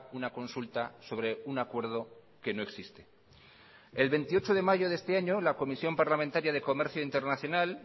una consulta sobre un acuerdo que no existe el veintiocho de mayo de este año la comisión parlamentaria de comercio internacional